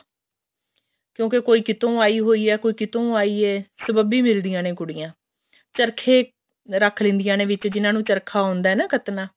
ਕਿਉਂਕਿ ਕੋਈ ਕਿਤੋਂ ਆਈ ਹੋਈ ਹੈ ਕੋਈ ਕਿਤੋਂ ਆਈ ਹੈ ਸਬੱਬੀ ਮਿਲਦੀਆਂ ਨੇ ਕੁੜੀਆਂ ਚਰਖੇ ਰੱਖ ਲੈਂਦੀਆਂ ਨੇ ਵਿੱਚ ਜਿਹਨਾ ਨੂੰ ਚਰਖਾ ਆਉਂਦਾ ਨਾ ਕੱਤਣਾ